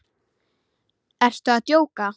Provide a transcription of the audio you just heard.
Ertu að djóka?